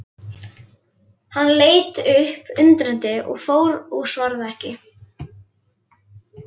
Hann leit upp undrandi og fár og svaraði ekki.